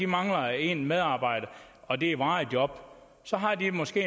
mangler en medarbejder og det er et varigt job så har de måske